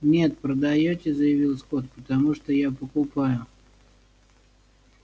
нет продаёте заявил скотт потому что я покупаю